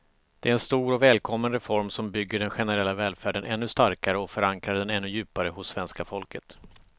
Det är en stor, välkommen reform som bygger den generella välfärden ännu starkare och förankrar den ännu djupare hos svenska folket.